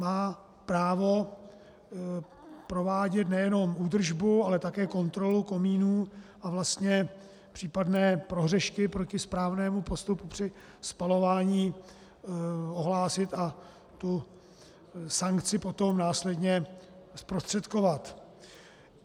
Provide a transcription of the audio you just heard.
Má právo provádět nejenom údržbu, ale také kontrolu komínů a vlastně případné prohřešky proti správnému postupu při spalování ohlásit a tu sankci potom následně zprostředkovat.